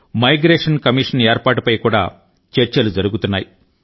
migration commission ఏర్పాటు పై కూడా చర్చలు జరుగుతున్నాయి